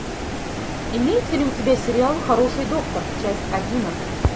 имеется ли у тебя сериал хороший доктор часть одиннадцать